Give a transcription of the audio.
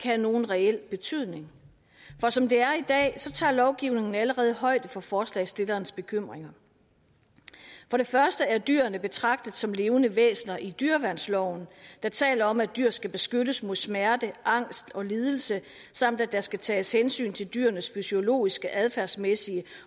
have nogen reel betydning for som det er i dag tager lovgivningen allerede højde for forslagsstillerens bekymringer for det første er dyrene betragtet som levende væsener i dyreværnsloven der taler om at dyr skal beskyttes mod smerte angst og lidelser samt at der skal tages hensyn til dyrenes fysiologiske adfærdsmæssige